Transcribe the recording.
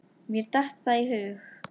Mér datt það í hug!